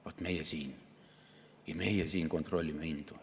Vaat meie siin, meie siin kontrollime hindu.